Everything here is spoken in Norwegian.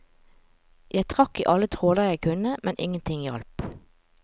Jeg trakk i alle tråder jeg kunne, men ingenting hjalp.